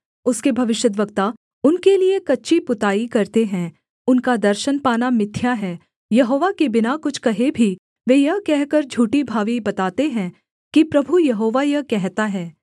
उसके भविष्यद्वक्ता उनके लिये कच्ची पुताई करते हैं उनका दर्शन पाना मिथ्या है यहोवा के बिना कुछ कहे भी वे यह कहकर झूठी भावी बताते हैं कि प्रभु यहोवा यह कहता है